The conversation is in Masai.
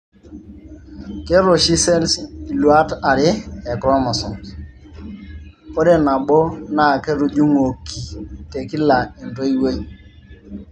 keeta oshi cells iluat are e chromosomes ,ore nabo naa ketujung'uoki te kila entoiwuoi.